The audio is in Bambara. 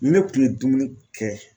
Ni ne tun ye dumuni kɛ